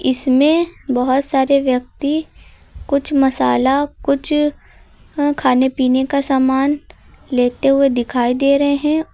इसमें बहुत सारे व्यक्ति कुछ मसाला कुछ खाने पीने का सामान लेते हुए दिखाई दे रहे हैं और--